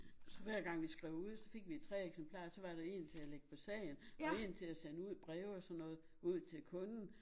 Så hver gang vi skrev ud så fik vi 3 eksemplarer så var der é til at lægge på sagen og én til at sende ud i breve og sådan noget ud til kunden